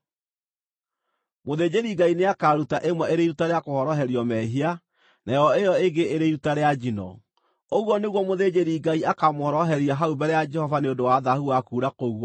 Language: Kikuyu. Mũthĩnjĩri-Ngai nĩakaruta ĩmwe ĩrĩ iruta rĩa kũhoroherio mehia, nayo ĩyo ĩngĩ ĩrĩ iruta rĩa njino. Ũguo nĩguo mũthĩnjĩri-Ngai akaamũhoroheria hau mbere ya Jehova nĩ ũndũ wa thaahu wa kuura kũu gwake.